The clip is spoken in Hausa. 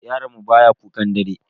Yaron mu baya kukan dare.